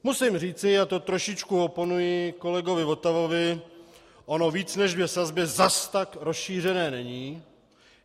Musím říci, a to trošičku oponuji kolegovi Votavovi, ono víc než dvě sazby zas tak rozšířené není.